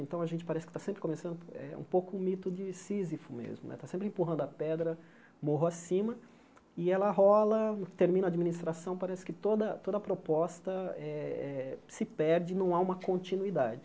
Então, a gente parece que está sempre começando é um pouco o mito de Sísifo mesmo, né está sempre empurrando a pedra, morro acima, e ela rola, termina a administração, parece que toda toda proposta eh eh se perde, não há uma continuidade.